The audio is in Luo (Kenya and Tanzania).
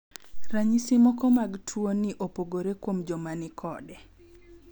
Ranyisi moko mag tuo ni opogore kuom joma ni kode.